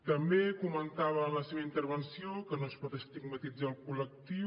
també comentava en la seva intervenció que no es pot estigmatitzar el col·lectiu